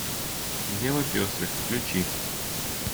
дело пестрых включи